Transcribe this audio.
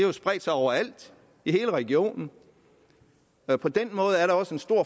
jo spredt sig overalt i hele regionen og på den måde er der også en stor